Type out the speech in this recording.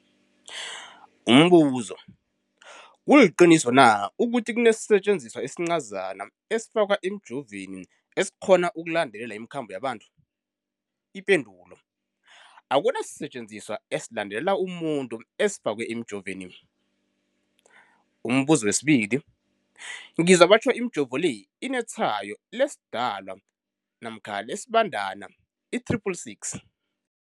Umbuzo, kuliqiniso na ukuthi kunesisetjenziswa esincazana esifakwa emijovweni, esikghona ukulandelela imikhambo yabantu? Akuna sisetjenziswa esilandelela umuntu esifakwe emijoveni. Umbuzo, ngizwa batjho imijovo le inetshayo lesiDalwa namkha lesiBandana i-666.